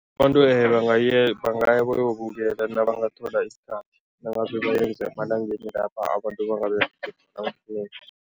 Abantu bangaya bayowubukela nabangathola isikhathi nangabe bayenza emalangeni la abantu bangaberegi